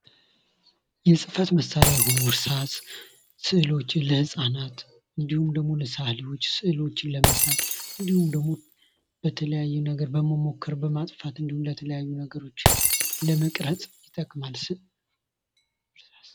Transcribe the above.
የህፈት መሳሪያዎች እርሳስ ስዕሎችን ለፃናት እንዲሁም ደግሞ ልሰአሊዎች ስዕሎችን ለመሳል እንዲሁም ደግሞ ለተለያዩ ነገሮች ለመቅረጽ ይጠቅማል።